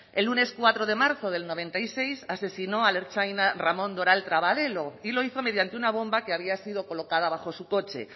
el lunes cuatro de marzo del noventa y seis asesinó al ertzaina ramón doral trabaledo y lo hizmo mediante una bomba que había sido colocada bajo su coche